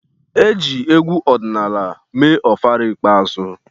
E ji egwu ọdịnala mee ofala ikpeazụ.